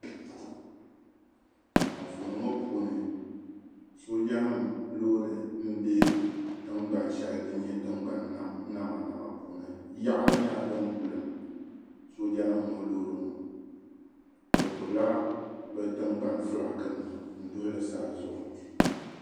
Anfooni ŋɔ puuni soojanima loori m-be tiŋgbani shɛli din nyɛ tiŋgbani namanama puuni. Yaɣiri nyɛla dim bulim soojanima ŋɔ loori ŋɔ. Bɛ gbibila bɛ tiŋgbani fulaakinima n-duhi li saazuɣu.